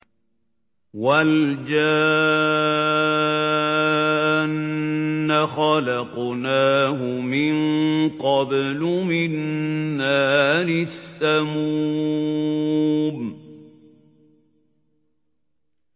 وَالْجَانَّ خَلَقْنَاهُ مِن قَبْلُ مِن نَّارِ السَّمُومِ